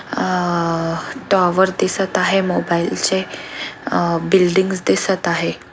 अं towers दिसत आहे mobile चे आ बिल्डिंग्स दिसत आहे.